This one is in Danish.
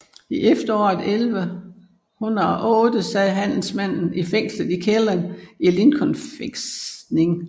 I efteråret 1108 sad handelsmanden fængslet i kælderen i Lincoln fæstning